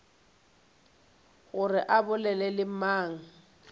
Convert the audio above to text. gore o bolela le mang